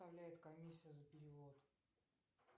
составляет комиссия за перевод